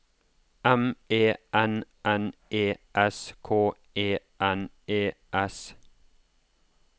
M E N N E S K E N E S